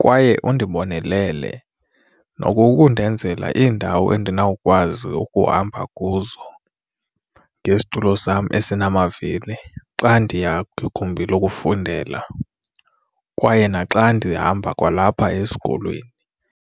kwaye undibonelele nokukundenzela iindawo andinawukwazi ukuhamba kuzo ngesitulo sam ensinamavili xa ndiya kwigumbi lokufundela kwaye naxa ndihamba kwalapha esikolweni.